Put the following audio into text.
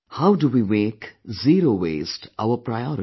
How do we make zero waste our priority